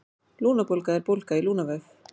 Lungnabólga er bólga í lungnavef.